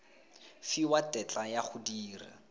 fiwa tetla ya go dira